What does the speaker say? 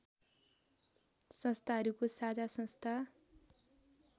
संस्थाहरूको साझा संस्था